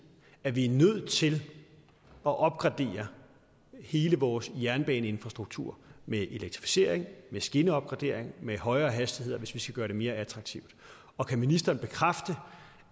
at vi er nødt til at opgradere hele vores jernbaneinfrastruktur med elektrificering med skinneopgradering med højere hastigheder hvis vi skal gøre det mere attraktivt og kan ministeren bekræfte